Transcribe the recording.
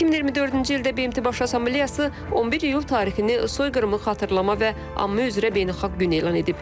2024-cü ildə BMT Baş Assambleyası 11 iyul tarixini soyqırımını xatırlama və anma üzrə beynəlxalq günü elan edib.